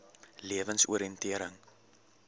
lewensoriëntering